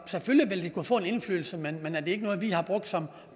selvfølgelig vil det kunne få en indflydelse men det er ikke noget vi har brugt som